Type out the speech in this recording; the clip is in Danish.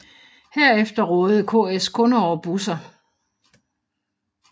Herefter rådede KS kun over busser